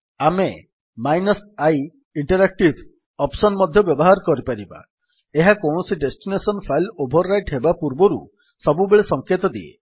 ଆମେ -interactive option ମଧ୍ୟ ବ୍ୟବହାର କରିପାରିବା ଏହା କୌଣସି ଡେଷ୍ଟିନେସନ୍ ଫାଇଲ୍ ଓଭର୍ ରାଇଟ୍ ହେବା ପୂର୍ବରୁ ସବୁବେଳେ ସଙ୍କେତ ଦିଏ